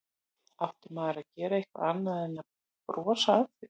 Átti maður að gera eitthvað annað en að brosa að því?